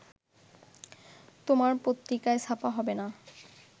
তোমার পত্রিকাই ছাপা হবে না